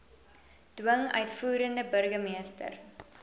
dwing uitvoerende burgermeester